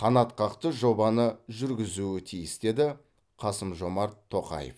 қанатқақты жобаны жүргізуі тиіс деді қасым жомарт тоқаев